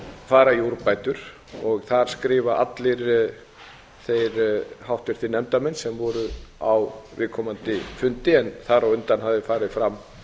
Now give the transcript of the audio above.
fara í úrbætur þar skrifa allir þeir háttvirtu nefndarmenn sem voru á viðkomandi fundi en þar á undan hafði farið fram